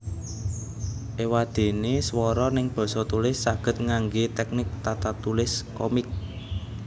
Ewadene swara neng basa tulis saged ngangge teknik tatatulis komik